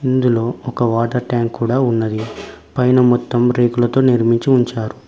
ఇందులో ఒక water tank కూడా ఉన్నది పైన మొత్తం రేకులతో నిర్మించి ఉంచార్.